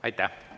Aitäh!